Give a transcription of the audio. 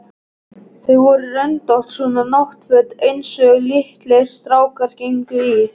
Þau voru röndótt, svona náttföt einsog litlir strákar gengu í.